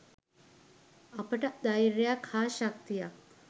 අපට ධෛර්යයක් හා ශක්තියක්